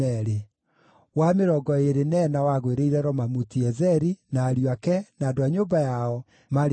wa mĩrongo ĩĩrĩ na ĩna wagũĩrĩire Romamuti-Ezeri, na ariũ ake, na andũ a nyũmba yao, maarĩ andũ 12.